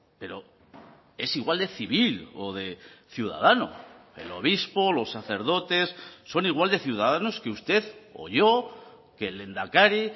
pero es igual de civil o de ciudadano el obispo los sacerdotes son igual de ciudadanos que usted o yo que el lehendakari